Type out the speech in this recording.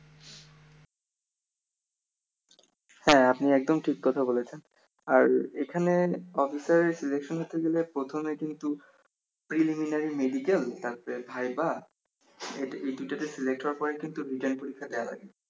হ্যা আপনি একদম ঠিক কথাই বলেছেন আর এখানে অফিসার সিলেকশন নিতে গেলে প্রথমে কিন্তু preliminary medical তারপর ভাইভা এই দুই টা তে select পরে কিন্তু writtten পরীক্ষা দেয়া লাগে